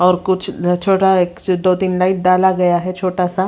और कुछ अ छोटा सा एक दो तीन लाइट डाला गया है छोटा सा--